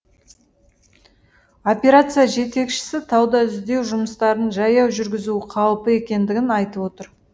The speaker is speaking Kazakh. операция жетекшісі тауда іздеу жұмыстарын жаяу жүргізу қауіпі екендігін айтып отыр